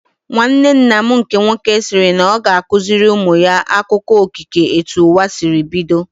Nwanne nna m nke nwoke sịrị na ọ ga-akụziri ụmụ ya akụkọ okike etu ụwa sịrị bido